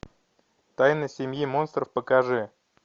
тайна семьи монстров покажи